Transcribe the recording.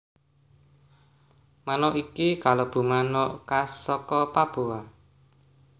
Manuk iki kalebu manuk khas saka Papua